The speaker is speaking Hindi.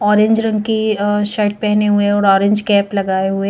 ऑरेंज रंग की अ शर्ट पहने हुए और ऑरेंज कैप लगाए हुए--